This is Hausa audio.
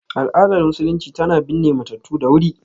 Al’adar Musulunci tana binne matattu da wuri.